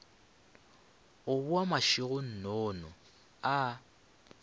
a boa mašego nnono a